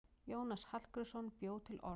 Jónas Hallgrímsson bjó til orð.